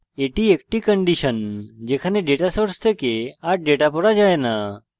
এটি একটি condition যেখানে ডেটা source থেকে a ডেটা পড়া যায় no